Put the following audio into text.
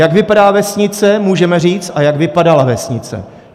Jak vypadá vesnice, můžeme říct, a jak vypadala vesnice!